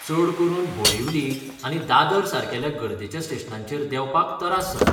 चड करून बोरिवली आनी दादर सारकेल्या गर्देच्या स्टेशनांचेर देंवपाक तरास जातात.